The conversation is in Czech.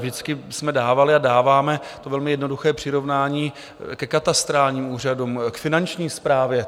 Vždycky jsme dávali a dáváme to velmi jednoduché přirovnání ke katastrálním úřadům, k Finanční správě.